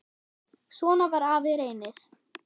Svona var afi Reynir.